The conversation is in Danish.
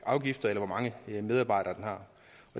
afgifter eller hvor mange medarbejdere